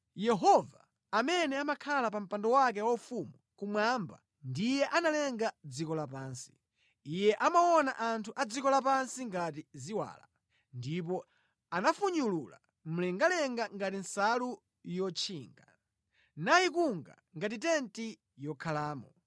Yehova amene amakhala pa mpando wake waufumu kumwamba ndiye analenga dziko lapansi, Iye amaona anthu a dziko lapansi ngati ziwala. Ndipo anafunyulula mlengalenga ngati nsalu yotchinga, nayikunga ngati tenti yokhalamo.